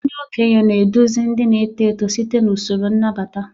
Ndị okenye na-eduzi ndị na-eto eto site n'usoro nnabata.